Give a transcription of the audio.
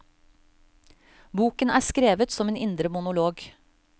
Boken er skrevet som en indre monolog.